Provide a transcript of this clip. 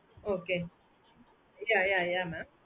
okay yeah yeah yeah mam